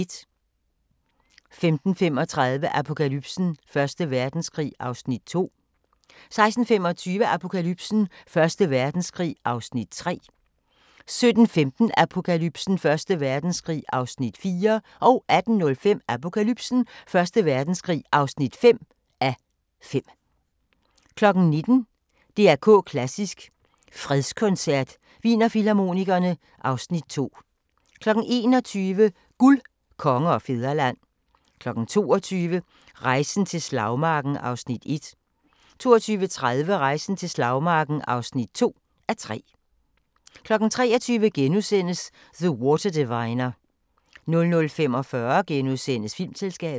15:35: Apokalypsen: Første Verdenskrig (2:5) 16:25: Apokalypsen: Første Verdenskrig (3:5) 17:15: Apokalypsen: Første Verdenskrig (4:5) 18:05: Apokalypsen: Første Verdenskrig (5:5) 19:00: DR K Klassisk: Fredskoncert – Wienerfilharmonikerne (Afs. 2) 21:00: Guld, Konge og Fædreland 22:00: Rejsen til Slagmarken (1:2) 22:30: Rejsen til Slagmarken (2:2) 23:00: The Water Diviner * 00:45: Filmselskabet *